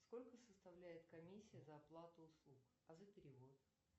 сколько составляет комиссия за оплату услуг а за перевод